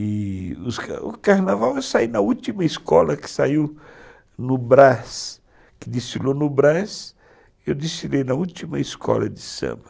E, o carnaval eu saí na última escola que saiu no Brás, que destilou no Brás, eu destilei na última escola de samba.